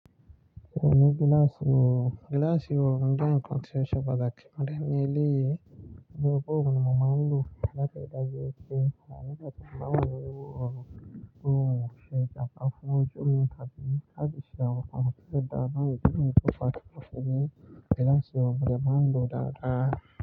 Mo ní gíláàsì oòrùn. Gíláàsì oòrùn jẹ́ nǹkan tí ó ṣe pàtàkì mo dẹ̀ ni eléyìí nítorí pé òun ni mo máa ń lò láti ríi dájú wípé ah nígbà tí mo bá wà nínú oòrùn, ó ń ṣe ìjàmbá fún ojú mi tàbí láti ṣe àwọn nǹkan tó dára náà. Nítorí pé kò bá ti wọ́n ṣe bí i gíláàsì ọrùn, mi máa ń lò ó dáadáa.